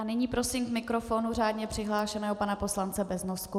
A nyní prosím k mikrofonu řádně přihlášeného pana poslance Beznosku.